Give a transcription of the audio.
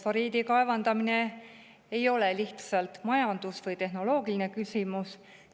Fosforiidi kaevandamine ei ole lihtsalt majandus- või tehnoloogiline küsimus.